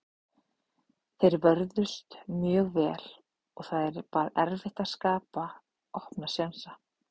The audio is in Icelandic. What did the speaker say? Þeir vörðust mjög vel og það var erfitt að skapa opna sénsa.